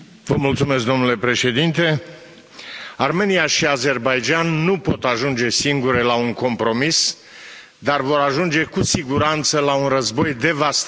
Domnule președinte, Armenia și Azerbaidjan nu pot ajunge singure la un compromis, dar vor ajunge cu siguranță la un război devastator.